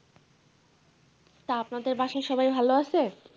তা আপনাদের বাসায় সবাই ভালো আছে